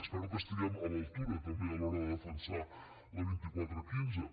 espero que estiguem a l’altura també a l’hora de defensar la vint quatre quinze